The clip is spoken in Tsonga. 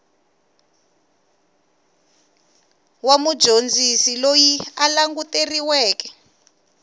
wa mudyondzisi loyi a languteriweke